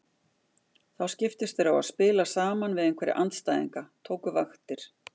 Þá skiptust þeir á að spila saman við einhverja andstæðinga, tóku vaktir.